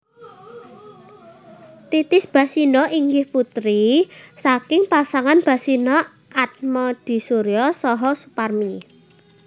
Titis Basino inggih putri saking pasangan Basino Atmodisuryo saha Suparmi